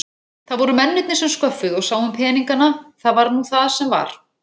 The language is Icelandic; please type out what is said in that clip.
Það voru mennirnir sem sköffuðu og sáu um peningana, það var nú það sem var.